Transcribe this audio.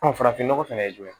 farafinnɔgɔ fɛnɛ ye jumɛn ye